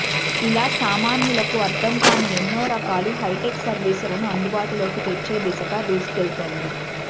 ఇలా సామాన్యులకు అర్థం కాని ఎన్నో రకాల హైటెక్ సర్వీసులను అందుబాటులోకి తెచ్చే దిశగా దూసుకెళ్తోంది